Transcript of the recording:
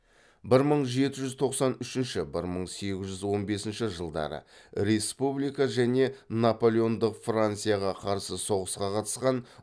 бір мың жеті жүз тоқсан үшінші бір мың сегіз жүз он бесінші жылы республика және наполеондық францияға қарсы соғысқа қатысқан